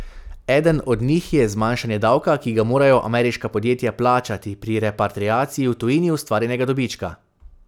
Eden od njih je zmanjšanje davka, ki ga morajo ameriška podjetja plačati pri repatriaciji v tujini ustvarjenega dobička.